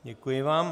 Děkuji vám.